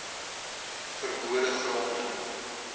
ver bode gronde